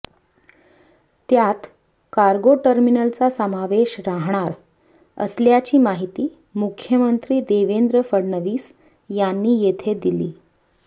त्यात कार्गो टर्मिनलचा समावेश राहणार असल्याची माहिती मुख्यमंत्री देवेंद्र ङ्गडणवीस यांनी येथे दिली